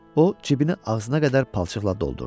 O cibini ağzına qədər palçıqla doldurdu.